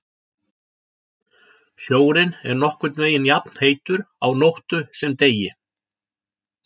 Sjórinn er nokkurn veginn jafnheitur á nóttu sem degi.